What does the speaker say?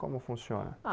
Como funciona? Ah